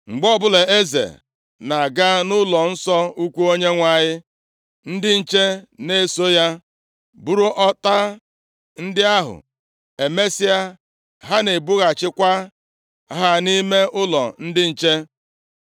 Mgbe ọbụla eze na-aga nʼụlọnsọ ukwu Onyenwe anyị, ndị nche na-eso ya buru ọta ndị ahụ, emesịa, ha na-ebughachikwa ha nʼime ụlọ ndị nche.